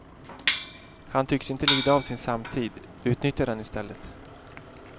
Han tycks inte lida av sin samtid, utnyttjar den i stället.